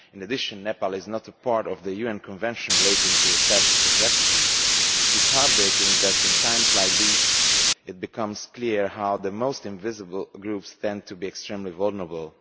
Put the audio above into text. Moreover, Nepal is not a party to the UN Convention relating to the Status of Refugees. It is heart breaking that, at times like these, it becomes clear how the most invisible groups tend to be extremely vulnerable.